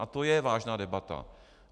A to je vážná debata.